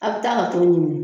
Aw bɛ taa ka to ɲini.